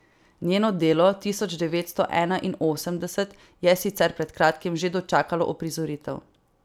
Njeno delo tisočdevetstoenainosemdeset je sicer pred kratkim že dočakalo uprizoritev.